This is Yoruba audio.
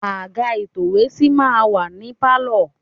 Àga ìtòwésí máa ń wà ní Pálọ̀.